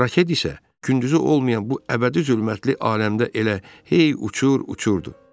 Raket isə gündüzü olmayan bu əbədi zülmətli aləmdə elə hey uçur-uçurdu.